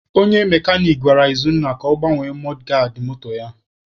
Onye mekanik gwara Izunna ka ọ gbanwee mọdgaadị moto ya.